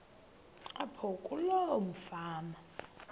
apho kuloo fama